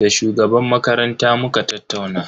Da shugaban makaranta muka tattauna.